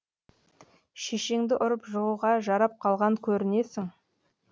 шешеңді ұрып жығуға жарап қалған көрінесің